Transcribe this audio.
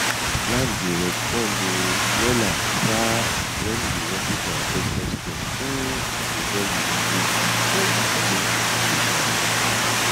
land dey respond um wella um when you worship di ancestor stone um before you begin before you begin dey farm